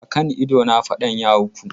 A kan idona fadan ya auku.